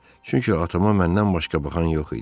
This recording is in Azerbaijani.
Çünki atama məndən başqa baxan yox idi.